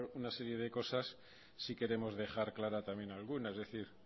una serie de cosas sí queremos dejar clara también alguna es decir